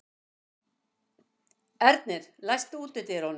Ernir, læstu útidyrunum.